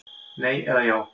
Nei eða já.